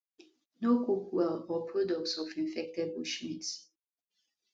no cook well or products of infected bushmeat